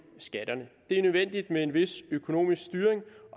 skatterne det er nødvendigt med en vis økonomisk styring